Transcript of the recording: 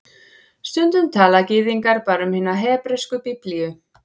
Stundum tala Gyðingar bara um hina hebresku Biblíu